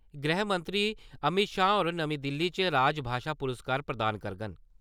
गृहमंत्री अमित शाह होर नमीं दिल्ली च राजभाशा पुरस्कार प्रदान करङन।